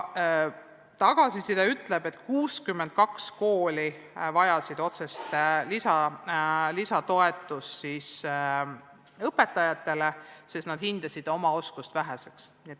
Tagasiside järgi vajasid 62 kooli otsest lisatuge, sest sealsed õpetajad hindasid oma oskust väheseks.